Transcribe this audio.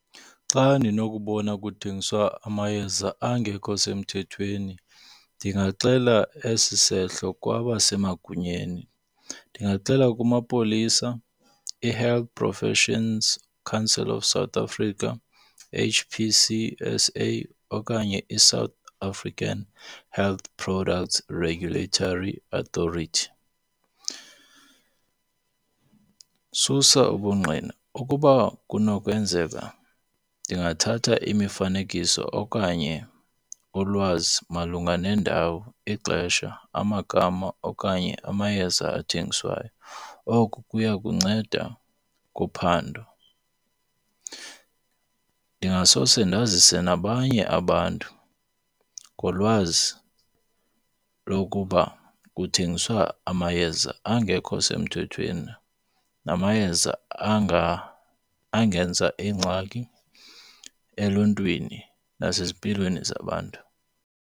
Xa ndinokubona kuthengiswa amayeza angekho semthethweni ndingaxela esi sehlo kwabasemagunyeni. Ndingaxela kumapolisa, i-Health Professions Council of South Africa H_P_C_S_A okanye iSouth African Health Products Regulatory Authority. Susa ubungqina, ukuba kunokwenzeka ndingathatha imifanekiso okanye ulwazi malunga nendawo, ixesha, amagama okanye amayeza athengiswayo. Oku kuya kunceda kuphando. Ndingasose ndazise nabanye abantu ngolwazi lokuba kuthengiswa amayeza angekho semthethweni namayeza angenza ingxaki eluntwini nasezimpilweni zabantu.